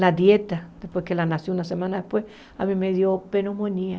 Na dieta, depois que ela nasceu, uma semana depois, a mim me deu pneumonia.